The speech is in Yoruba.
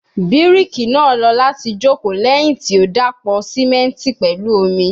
Biriki naa lọ lati joko lẹhin ti o dapọ simenti pẹlu omi